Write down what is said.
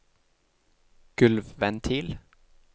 gulvventil